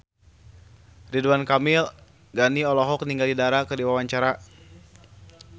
Ridwan Ghani olohok ningali Dara keur diwawancara